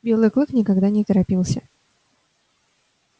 белый клык никогда не торопился